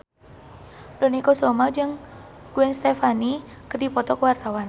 Dony Kesuma jeung Gwen Stefani keur dipoto ku wartawan